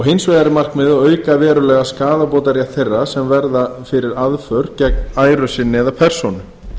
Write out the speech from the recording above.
hins vegar er markmiðið að auka verulega skaðabótarétt þeirra sem verða fyrir aðför gegn æru sinni eða persónu